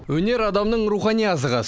өнер адамның рухани азығы